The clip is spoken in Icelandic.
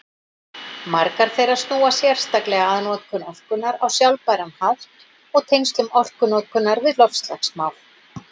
Margar þeirra snúa sérstaklega að notkun orkunnar á sjálfbæran hátt og tengslum orkunotkunar við loftslagsmál.